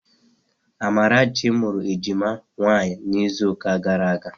Amarachi mụrụ ejima nwaanyị n'izuụka gara aga